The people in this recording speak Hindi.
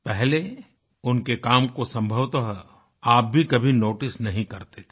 पहले उनके काम को संभवतः आप भी कभी नोटिस नहीं करते थे